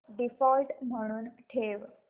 default म्हणून ठेव